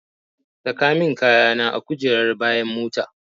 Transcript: Saka min kayana a kujerar bayan mota.